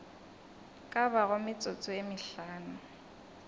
ka bago metsotso ye mehlano